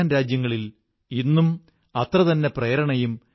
രാമലീല ഉത്സവവും അതിന്റെ ഒരു വലിയ ആകർഷണമായിരുന്നു